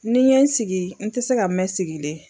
Ni n ye n sigi, n tɛ se ka mɛn sigilen.